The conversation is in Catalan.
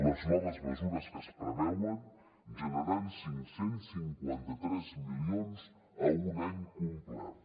les noves mesures que es preveuen generaran cinc cents i cinquanta tres milions a un any complert